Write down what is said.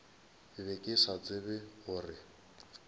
be ke sa tsebe gore